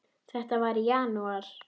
Þetta var í janúar.